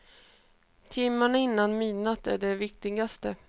Timmarna innan midnatt är de viktigaste.